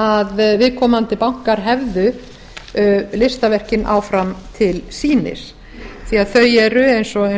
að viðkomandi bankar hefðu listaverkin áfram til sýnis því að þau eru eins og